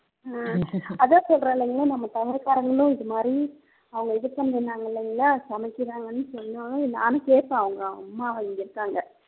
ஹம் அதான் சொல்றேன் இல்லங்க நம்ம தமிழ்க்காரங்களும் இதுமாதிரி அவங்க இதுபண்றேண்ணாங்க இல்லைங்களா சமைக்கிறாங்கன்னு சொன்ன உடனே நானும் சேர்த்து அவங்க அம்மா இங்க இருக்காங்க